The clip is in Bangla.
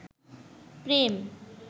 প্রেম